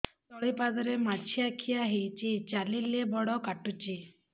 ତଳିପାଦରେ ମାଛିଆ ଖିଆ ହେଇଚି ଚାଲିଲେ ବଡ଼ କାଟୁଚି